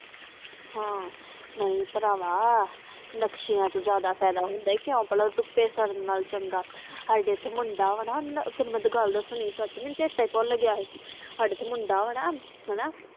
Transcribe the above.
ਹਾਂ ਨਹੀਂ ਭਰਾਵਾਂ ਨਕਸ਼ਿਆਂ ਦਾ ਜਾਂਦਾ ਫਾਇਦਾ ਹੁੰਦਾ ਆ ਕਿਉ ਭਲਾ ਆਧੁਪੀ ਸਰਦਨ ਤੋਂ ਇਲਾਵਾ ਸਾਡੇ ਇੱਥੇ ਮੁੰਡਾ ਵਾ ਤੈਨੂੰ ਮੇਵੀਨ ਗੱਲ ਦਸਣੀ ਸੀ ਮੇਨੂ ਤਾ ਚਰਤਾ ਭੁੱਲ ਗਿਆ ਸਾਡੇ ਇੱਥੇ ਮੁੰਡਾ ਵਾ ਨਾ ਹਨ